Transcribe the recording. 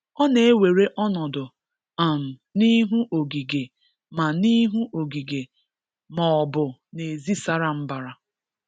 Ọ na-ewere ọnọdụ um n'ihu ogige ma n'ihu ogige ma ọ bụ n’ezi sara mbara.